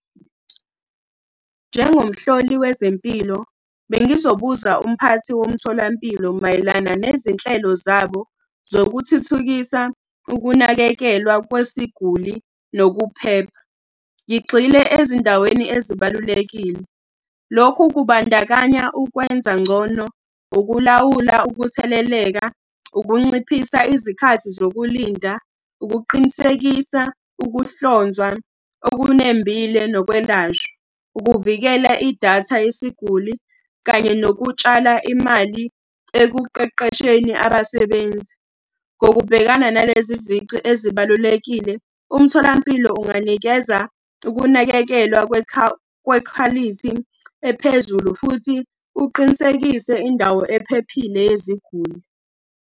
Njengomhloli wezempilo, bengizobuza umphathi womtholampilo mayelana nezinhlelo zabo zokuthuthukisa ukunakekelwa kwesiguli nokuphepha. Ngigxile ezindaweni ezibalulekile. Lokhu kubandakanya ukwenza ngcono, ukulawula ukutheleleka, ukunciphisa izikhathi zokulinda, ukuqinisekisa ukuhlonzwa okunembile nokwelashwa, ukuvikela idatha yesiguli, kanye nokutshala imali ekuqeqesheni abasebenzi. Ngokubhekana nalezi izici ezibalulekile, umtholampilo unganikeza ukunakekelwa kwekhwalithi ephezulu, futhi uqinisekise indawo ephephile yeziguli.